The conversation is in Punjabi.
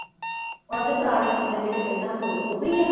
ਉਹਦੇ ਪੁਰਾਣੇ ਕਮਰੇ ਜਿਹੜੇ ਪਹਿਲਾਂ ਦੋ ਉਹੀ ਆ ਨਾ।